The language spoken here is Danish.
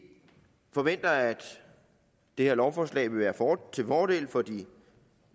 forventer at det her lovforslag vil være til fordel for de